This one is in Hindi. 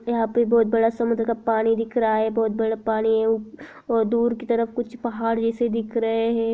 यहाँ पे बहुत बड़ा समुद्र का पानी दिख रहा है बहुत बड़ा पानी है और दूर की तरफ कुछ पहाड़ जैसे दिख रहे है।